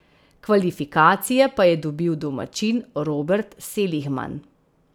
Kvalifikacije pa je dobil domačin Robert Seligman.